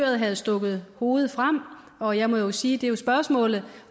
havde stukket hovedet frem og jeg må jo sige det er et spørgsmål